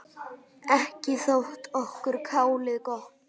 Ekki þótti okkur kálið gott.